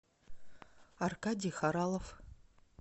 аркадий хоралов